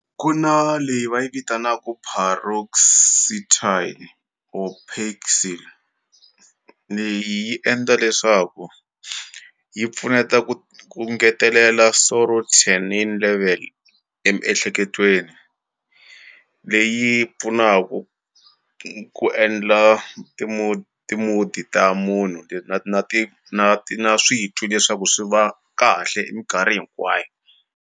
Ku na leyi va yi vitanaku Paroxetine or Paxil leyi yi endla leswaku yi pfuneta ku ku ngetelela serotonin level emiehleketweni leyi pfunaku ku endla ti-mood ta munhu na ti na ti na switwi leswaku swi va kahle minkarhi hinkwayo.